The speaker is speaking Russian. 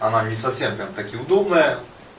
она не совсем так и удобная